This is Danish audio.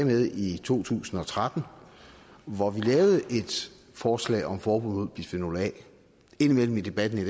med i to tusind og tretten hvor vi lavede et forslag om forbud mod bisfenol a indimellem i debatten i